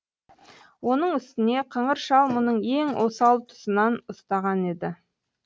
оның үстіне қыңыр шал мұның ең осал тұсынан ұстаған еді